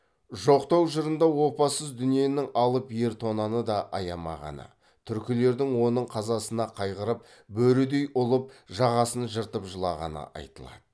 жоқтау жырында опасыз дүниенің алып ер тонаны да аямағаны түркілердің оның қазасына қайғырып бөрідей ұлып жағасын жыртып жылағаны айтылады